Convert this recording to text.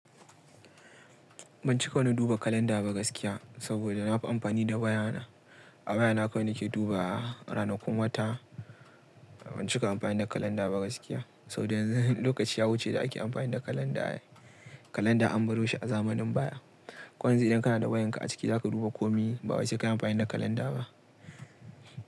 Ban cika wani duba kalanda ba gaskiya, saboda na fi amfani da wayana. A wayana kawai nake duba ranakun wata. Ban cika amfani da kalanda ba gaskiya. Saboda yanzu lokaci ya wuce da ake amfani da kalanda ne. Kalanda an baro shi a zamanin baya. Ko yanzu idan kana da wayanka a ciki za ka duba komai ba wai sai ka yi amfani da kalanda ba.